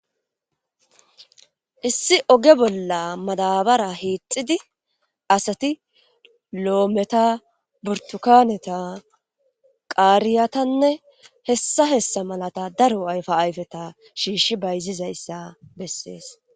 Issi oge bolla madaabara hiixxidi asati loometa burtukaaneta qaariyatanne hessa hessa malata daro ayfa ayfeta shiishi bayzizayssa bessees